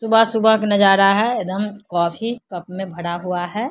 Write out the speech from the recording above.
सुबह-सुबह क नजारा है एकदम कॉफ़ी कप में भरा हुआ है।